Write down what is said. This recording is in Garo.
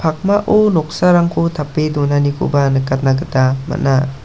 pakmao noksarangko tape donanikoba nikatna gita man·a.